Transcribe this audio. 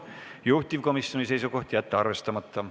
Juhtivkomisjoni seisukoht on jätta see arvestamata.